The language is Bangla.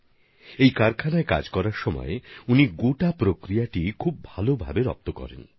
তিনি এই কারখানায় কাজ করার সময় সম্পূর্ণ পদ্ধতিটি ভালো ভাবে জেনেছেন বুঝেছেন